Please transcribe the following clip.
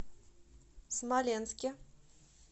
смоленске